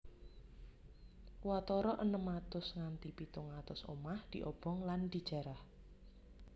Watara enem atus nganti pitung atus omah diobong lan dijarah